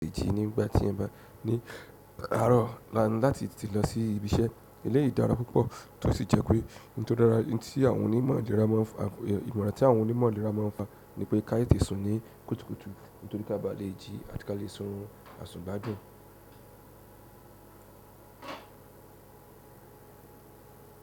Le jí nígbà tí ẹ bá ní àárọ̀ láti tìtí lọ sí ibi iṣẹ́, eléyìí dára púpọ̀ tó sì jẹ́ pé ohun tí àwọn onímọ̀ ìlera máa ń fa, ìmọ̀ràn tí àwọn onímọ̀ ìlera máa ń fa ni pé ká yẹ kí á tẹ̀ te sùn ní kùtùkùtù nítorí ká ba le jí àti ká lè sùn àsùn gbá dùn.